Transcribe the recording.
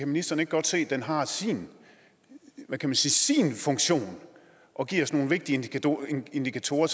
ministeren ikke godt se at den har sin funktion og giver os nogle vigtige indikatorer